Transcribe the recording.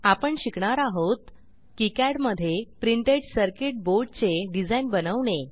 आपण शिकणार आहोत किकाड मधे प्रिंटेड सर्किट boardचे डिझाईन बनवणे